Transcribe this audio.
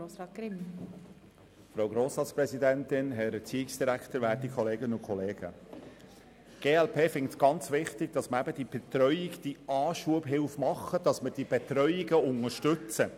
Die glp findet es sehr wichtig, die Anschubhilfe zu machen und die Betreuungen unterstützen.